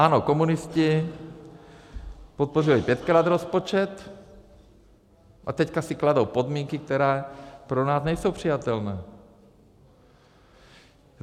Ano, komunisti podpořili pětkrát rozpočet, a teď si kladou podmínky, které pro nás nejsou přijatelné.